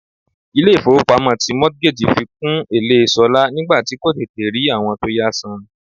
Ilé ifowopamo ti mortgage fi kún èlé ṣolá nígbà tí kò tètè rí àwọn tó yá san.